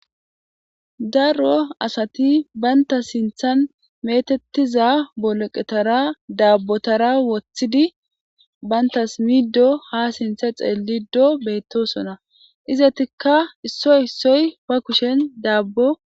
darro asati banta sinthan metettiza boleqetara daabbotara wothidi bayntas middo ha sintha xeellido beettosona izatikka issoy issoy ba kushen daabbo